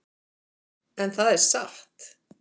En það er satt.